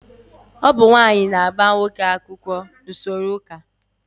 Ọ bụ nwaanyị na-agba nwoke akwụkwọ n'usoro chọọchị